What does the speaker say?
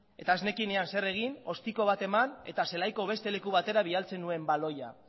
eta ez nekienean zer egin ostiko bat eman eta zelaiko beste leku batera bidaltzen nuen baloia